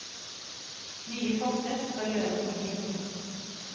Nye forsøk skal gjøres i pinsen.